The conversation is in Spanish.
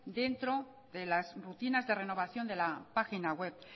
dentro de las rutinas de renovación de la página web